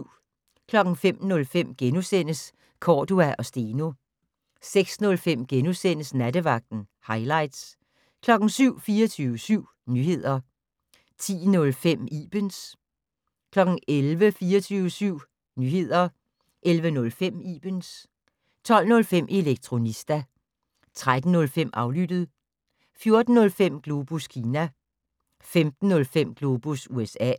05:05: Cordua & Steno * 06:05: Nattevagten - hightlights * 07:00: 24syv Nyheder 10:05: Ibens 11:00: 24syv Nyheder 11:05: Ibens 12:05: Elektronista 13:05: Aflyttet 14:05: Globus Kina 15:05: Globus USA